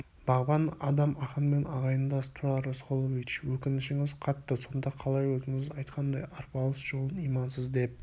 бағбан адам ақынмен ағайындас тұрар рысқұлович өкінішіңіз қатты сонда қалай өзіңіз айтқандай арпалыс жолын имансыз деп